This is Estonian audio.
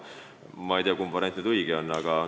Ma ei tea, kumb variant õige on.